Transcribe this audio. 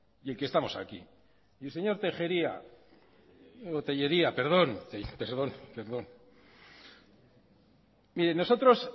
y el que estamos aquí y señor tellería nosotros